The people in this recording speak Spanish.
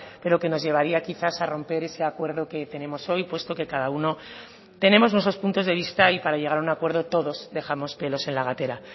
pero que nos llevaría quizás a romper ese acuerdo que tenemos hoy puesto que cada uno tenemos nuestros puntos de vista y para llegar a un acuerdo todos dejamos pelos en la gatera